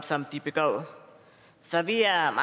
som de begår så vi er